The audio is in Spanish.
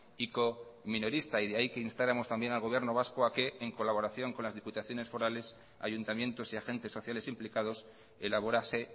ico minorista y de ahí que instáramos también al gobierno vasco a que en colaboración con las diputaciones forales ayuntamientos y agentes sociales implicados elaborase